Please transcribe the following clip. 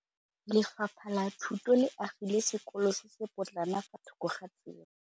Lefapha la Thuto le agile sekôlô se se pôtlana fa thoko ga tsela.